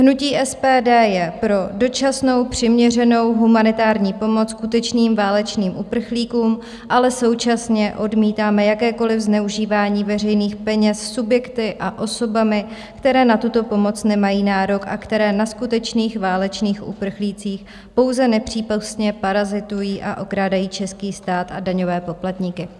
Hnutí SPD je pro dočasnou, přiměřenou humanitární pomoc skutečným válečným uprchlíkům, ale současně odmítáme jakékoliv zneužívání veřejných peněz subjekty a osobami, které na tuto pomoc nemají nárok a které na skutečných válečných uprchlících pouze nepřípustně parazitují a okrádají český stát a daňové poplatníky.